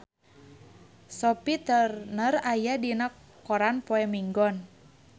Sophie Turner aya dina koran poe Minggon